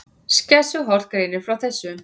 Skessuhorn greinir frá þessu